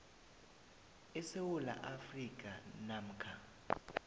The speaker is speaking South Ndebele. esewula afrika namkha